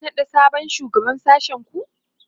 za'a naɗa sabon shugaban sashen ku?